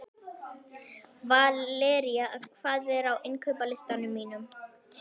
Valería, hvað er á innkaupalistanum mínum?